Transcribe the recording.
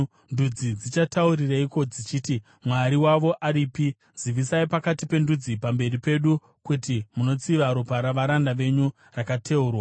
Ndudzi dzichataurireiko dzichiti, “Mwari wavo aripi?” Zivisai pakati pendudzi, pamberi pedu, kuti munotsiva ropa ravaranda venyu rakateurwa.